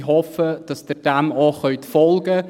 Ich hoffe, dass sie dem auch folgen können.